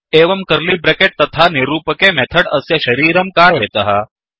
एवं curly bracket तथा निरूपके मेथड् अस्य शरीरं कारयतः